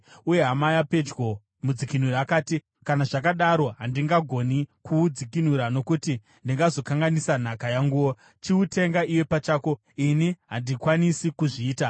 Uye hama yapedyo, mudzikinuri akati, “Kana zvakadaro handingagoni kuudzikinura nokuti ndingazokanganisa nhaka yanguwo. Chiutenga iwe pachako. Ini handikwanisi kuzviita.”